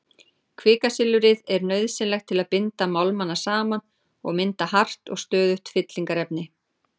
Kvikasilfrið er nauðsynlegt til að binda málmana saman og mynda hart og stöðugt fyllingarefni.